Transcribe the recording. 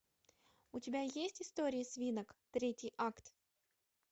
у тебя есть история свинок третий акт